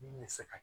Min bɛ se ka